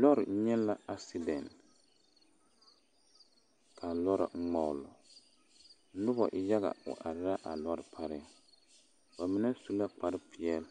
Lɔɔre nyɛ la asedɛŋ ka a lɔɔre ŋmogle noba yaga wa are la a lɔɔre pare ba mine su la kpare peɛle